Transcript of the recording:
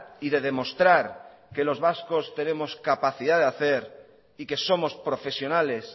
y de demostrar que los vascos tenemos capacidad de hacer y que somos profesionales